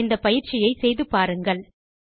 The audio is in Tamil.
இந்த பயிற்சியை செய்து பார்க்கவும்